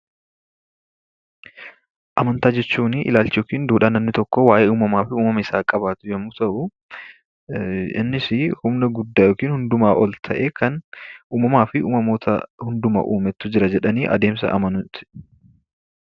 Amantaa jechuun aadaa yookaan duudhaa namni tokko waa'ee uumama isaa qabaatu yemmuu ta'u, innis humna guddaa yookiin hundumaa ol guddaa kan uumamaa fi uumamoota hunduma uumetu jira jedhanii adeemsa amanuuti.